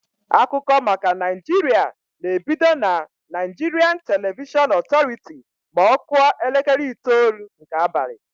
Akụkọ maka Naịjiria na-ebido na Naịjirian Televishọn Ọtọrity ma ọ kụọ elekere itoolu nke abalị.